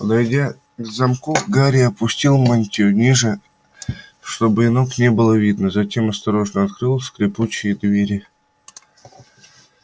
подойдя к замку гарри опустил мантию ниже чтобы и ног не было видно затем осторожно открыл скрипучие двери